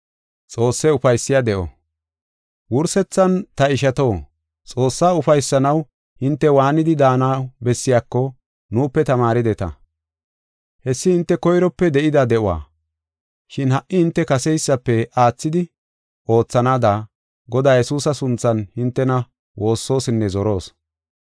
Wursethan, ta ishato, Xoossaa ufaysanaw hinte waanidi daanaw bessiyako nuupe tamaarideta. Hessi hinte koyrope de7ida de7uwa, shin ha77i hinte kaseysafe aathidi oothanaada Godaa Yesuusa sunthan hintena woossosinne zoroos.